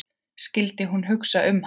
Skyldi hún hugsa um hann?